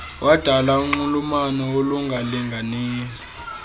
wadala unxulumano olungalinganiyo